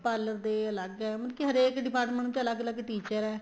parlor ਦੇ ਅਲੱਗ ਹੈ ਮਤਲਬ ਕੀ ਹਰੇਕ department ਦੇ ਅਲੱਗ ਅਲੱਗ teacher ਹੈ